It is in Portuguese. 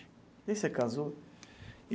E você casou?